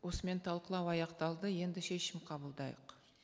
осымен талқылау аяқталды енді шешім қабылдайық